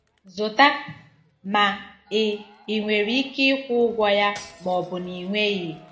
Zụta! ” ma ị ị nwere ike ịkwụ ụgwọ ya ma ọ bụ na ị inweghi.